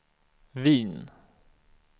Wien